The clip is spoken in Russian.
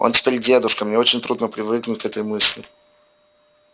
он теперь дедушка мне очень трудно привыкнуть к этой мысли